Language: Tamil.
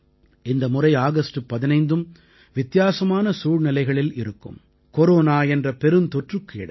இந்த முறை ஆகஸ்ட் 15ம் வித்தியாசமான சூழ்நிலைகளில் இருக்கும் கொரோனா என்ற பெருந்தொற்றுக்கு இடையே